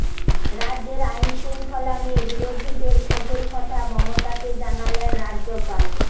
রাজ্যের আইন শৃঙ্খলা নিয়ে বিরোধীদের ক্ষোভের কথা মমতাকে জানালেন রাজ্যপাল